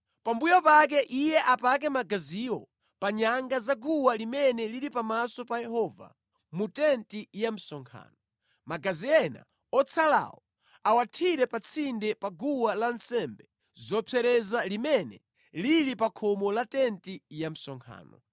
Pambuyo pake iye apake magaziwo pa nyanga za guwa limene lili pamaso pa Yehova mu tenti ya msonkhano. Magazi ena otsalawo awathire pa tsinde pa guwa lansembe zopsereza limene lili pa khomo la tenti ya msonkhano.